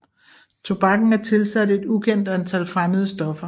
Tobakken er tilsat et ukendt antal fremmede stoffer